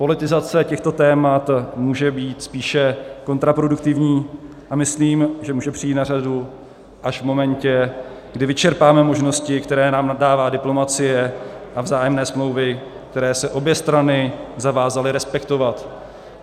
Politizace těchto témat může být spíše kontraproduktivní a myslím, že může přijít na řadu až v momentě, kdy vyčerpáme možnosti, které nám dává diplomacie a vzájemné smlouvy, které se obě strany zavázaly respektovat.